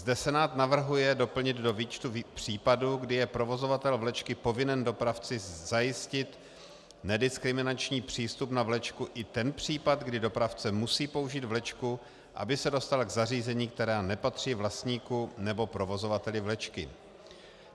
Zde Senát navrhuje doplnit do výčtu případů, kdy je provozovatel vlečky povinen dopravci zajistit nediskriminační přístup na vlečku, i ten případ, kdy dopravce musí použít vlečku, aby se dostal k zařízením, která nepatří vlastníkům nebo provozovateli vlečky.